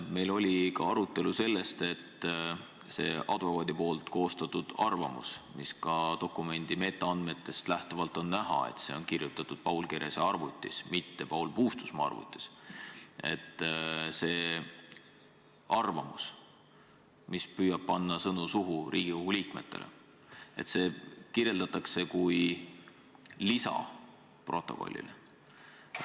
Meil oli arutelu selle üle, et see advokaadi koostatud arvamus on kirjutatud Paul Kerese arvutis – nagu on ka dokumendi metaandmetest näha –, mitte Paul Puustusmaa arvutis, ning et seda arvamust, mis püüab Riigikogu liikmetele panna sõnu suhu, kirjeldatakse kui protokolli lisa.